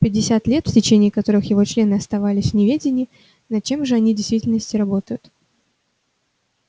пятьдесят лет в течение которых его члены оставались в неведении над чем же они в действительности работают